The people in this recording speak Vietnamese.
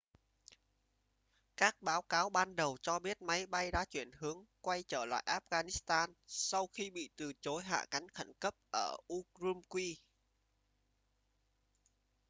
các báo cáo ban đầu cho biết máy bay đã chuyển hướng quay trở lại afghanistan sau khi bị từ chối hạ cánh khẩn cấp ở ürümqi